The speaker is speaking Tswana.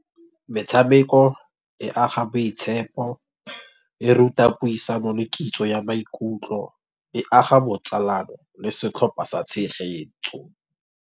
Metshameko e aga boitshepo, e ruta puisano le kitso ya maikutlo. E aga botsalano le setlhopha sa tshegetso.